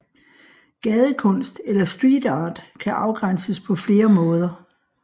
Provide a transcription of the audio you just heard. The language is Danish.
Gadekunst eller street art kan afgrænses på flere måder